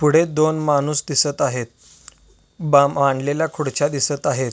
पुढे दोन माणूस दिसत आहेत बा मांडलेल्या दोन खुर्च्या दिसत आहेत.